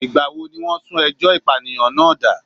Ìgbà wo ni wọ́n sún ẹjọ́ ìpànìyàn náà dà?